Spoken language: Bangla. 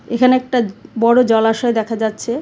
এখানে একটা বড়ো জলাশয় দেখা যাচ্ছে।